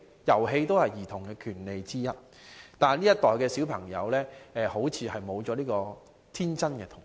遊戲也是兒童的權利之一，但這一代小孩子似乎沒有了天真的童年。